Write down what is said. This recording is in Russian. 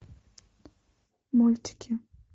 мультики